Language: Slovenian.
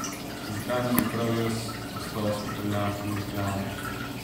Zakaj ne bi prav jaz postal svetovljan številka ena?